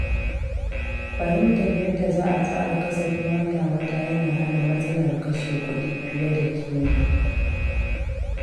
Fahimtar yadda za a tsara kasafin wata-wata yana hana matsalar kashe kuɗi fiye da kima.